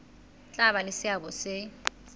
tla ba le seabo se